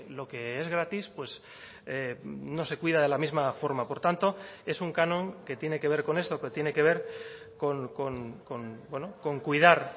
lo que es gratis pues no se cuida de la misma forma por tanto es un canon que tiene que ver con esto que tiene que ver con cuidar